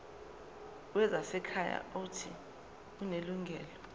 wezasekhaya uuthi unelungelo